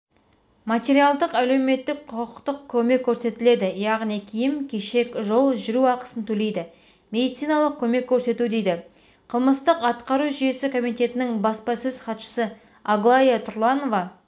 материалдық әлеуметтік құқықтық көмек көрсетіледі яғни киім-кешек жол жүру ақысын төлейді медициналық көмек көрсету дейді қылмыстық атқару жүйесі комитетінің баспасөз хатшысы аглая тұрланова